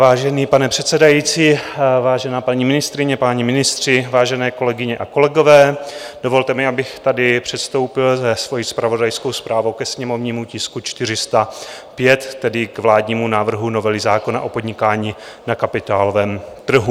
Vážený pane předsedající, vážená paní ministryně, páni ministři, vážené kolegyně a kolegové, dovolte mi, abych tady předstoupil se svojí zpravodajskou zprávou ke sněmovnímu tisku 405, tedy k vládnímu návrhu novely zákona o podnikání na kapitálovém trhu.